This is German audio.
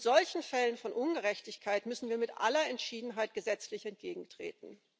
Solchen Fällen von Ungerechtigkeit müssen wir mit aller Entschiedenheit gesetzlich entgegentreten.